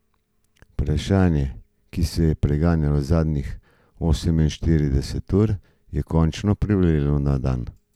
Vprašanje, ki me je preganjalo zadnjih oseminštirideset ur, je končno privrelo na dan.